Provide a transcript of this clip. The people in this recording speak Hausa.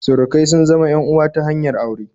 Surukai sun zama en uwa ta hanyar aure